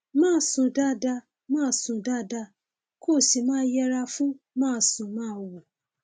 máa sùn dáadáa máa sùn dáadáa kó o sì máa yẹra fún másùnmáwo